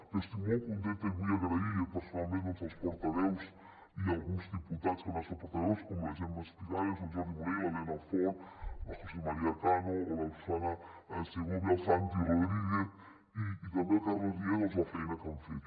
jo estic molt contenta i vull agrair personalment als portaveus i a alguns diputats que no han estat portaveus com la gemma espigares el jordi munell l’elena fort el josé maría cano o la susanna segovia el santi rodríguez i també el carles riera doncs la feina que han fet